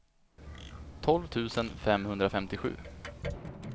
tolv tusen femhundrafemtiosju